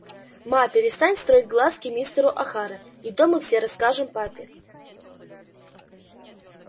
ма перестань строить глазки мистеру охара и то мы все расскажем папе